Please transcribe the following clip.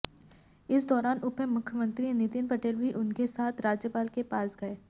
इस दौरान उपमुख्यमंत्री नितिन पटेल भी उनके साथ राज्यपाल के पास गए